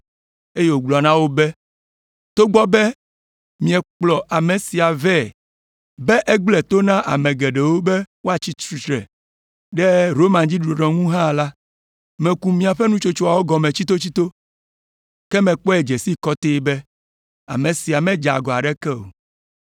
eye wògblɔ na wo be, “Togbɔ be miekplɔ ame sia vɛ be egblẽ to na ame geɖewo be woatsi tsitre ɖe Roma dziɖuɖua ŋu hã la, meku miaƒe nutsotsoa gɔme tsitotsito, ke mekpɔe dze sii kɔtɛe be ame sia medze agɔ aɖeke o.